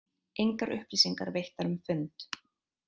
Engar upplýsingar veittar um fund